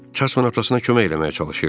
Jason atasına kömək eləməyə çalışırdı.